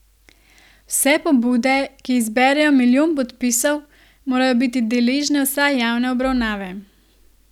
Vse pobude, ki zberejo milijon podpisov, morajo biti deležne vsaj javne obravnave.